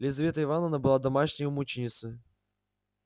лизавета ивановна была домашней мученицею